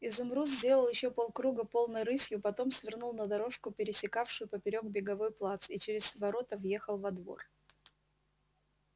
изумруд сделал ещё полкруга полной рысью потом свернул на дорожку пересекавшую поперёк беговой плац и через ворота въехал во двор